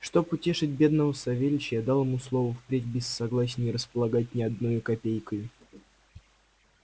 чтоб утешить бедного савельича я дал ему слово впредь без его согласия не располагать ни одною копейкою